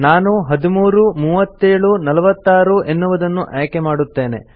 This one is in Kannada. ನಾನು 13 37 46 ಎನ್ನುವುದನ್ನು ಆಯ್ಕೆಮಾಡುತ್ತೇನೆ